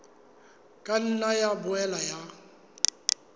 ka nna ya boela ya